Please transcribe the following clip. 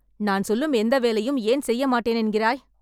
நான் சொல்லும் எந்த வேலையும் ஏன் செய்ய மாட்டேன் என்கிறாய்.